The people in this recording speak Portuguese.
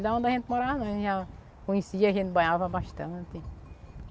Da onde a gente morava não, a gente já conhecia, a gente banhava bastante.